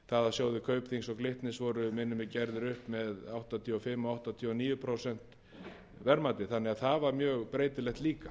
sjóðir kaupþings og glitnis voru minnir mig gerðir upp með áttatíu og fimm og áttatíu og níu prósent verðmæti þannig að það var mjög breytilegt líka